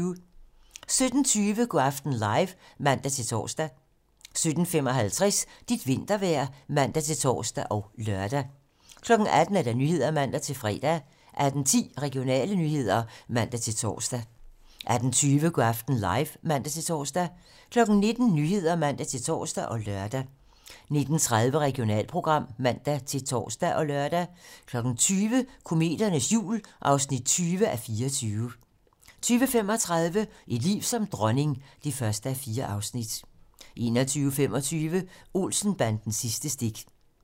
17:20: Go' aften live (man-tor) 17:55: Dit vintervejr (man-tor og lør) 18:00: 18 Nyhederne (man-fre) 18:10: Regionale nyheder (man-tor) 18:20: Go' aften live (man-tor) 19:00: 19 Nyhederne (man-tor og lør) 19:30: Regionalprogram (man-tor og lør) 20:00: Kometernes jul (20:24) 20:35: Et liv som dronning (1:4) 21:25: Olsen-bandens sidste stik